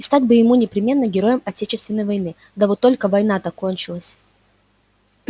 и стать бы ему непременно героем отечественной войны да вот только война-то кончилась